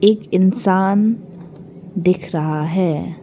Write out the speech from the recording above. एक इंसान दिख रहा है।